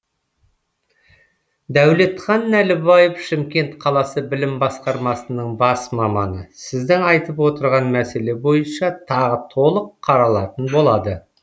дәулетхан нәлібаев шымкент қаласы білім басқармасының бас маманы сіздің айтып отырған мәселе бойынша тағы толық қаралатын болады